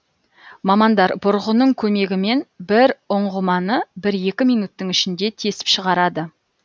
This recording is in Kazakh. мамандар бұрғының көмегімен бір ұңғыманы бір екі минуттың ішінде тесіп шығарады